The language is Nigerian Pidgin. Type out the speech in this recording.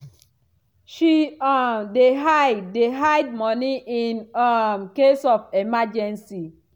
she um dey hide dey hide money in um case of emergency